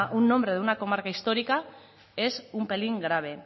un nombre de una comarca histórica es un pelín grave